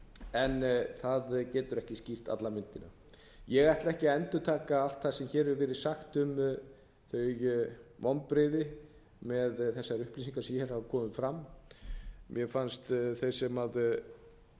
en það getur ekki skýrt alla myndina ég ætla ekki að endurtaka allt það sem hér hefur verið sagt um vonbrigði með þessar upplýsingar sem hér hafa komið fram mér fannst háttvirtur þingmaður einar kristinn guðfinnsson